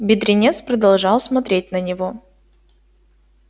бедренец продолжал смотреть на него